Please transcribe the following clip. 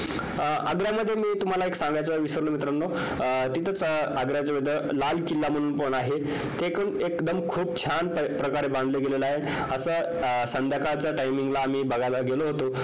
आग्र्यामध्ये मी तुमाला एक सांगायचं विसरलो मित्रांनो तिथे आग्र्याजवळ लाल किल्ला म्हणून पण आहे ते पण खूप छान प्रकारे बांधलं गेलेलं आहे असं संध्याकाळच्या timing ला आम्ही बघायला गेलो होतो